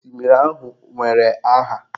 Osimiri ahụ nwere aha.